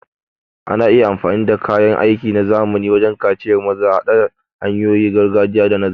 Ana iya amfani da kayan aiki na zamani wajen kaciyar maza, haɗa hanyoyin gargajiya da na zamani.